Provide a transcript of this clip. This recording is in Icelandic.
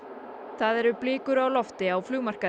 það eru blikur á lofti á